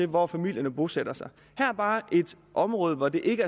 hvor familierne bosætter sig her er bare et område hvor ikke